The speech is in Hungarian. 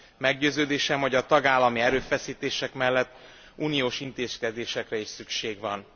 Meggyőződésem, hogy a tagállami erőfeszítések mellett uniós intézkedésekre is szükség van.